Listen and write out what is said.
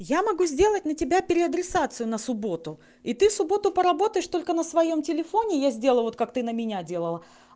я могу сделать на тебя переадресацию на субботу и ты в субботу поработаешь только на своём телефоне я сделал вот как ты на меня делала